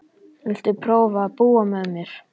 Viltu prófa að búa með mér.